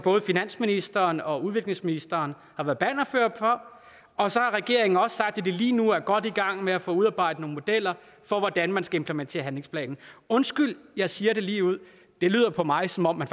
finansministeren og udviklingsministeren har været bannerførere for og så har regeringen også sagt at man lige nu er godt i gang med at få udarbejdet nogle modeller for hvordan man skal implementere handlingsplanen undskyld at jeg siger det ligeud det lyder for mig som om man